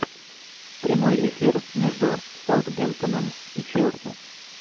прямой эфир между саутгемптоном и челси